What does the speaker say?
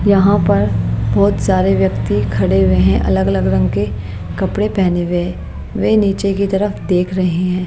यहां पर बहोत सारे व्यक्ति खड़े हुए हैं अलग अलग रंग के कपड़े पहने हुए वे नीचे की तरफ देख रहे हैं।